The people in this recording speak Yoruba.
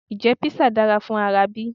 Ǹjẹ́ Písà dára fún ara bí?